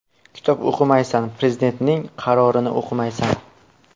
Kitob o‘qimaysan, Prezidentning qarorini o‘qimaysan.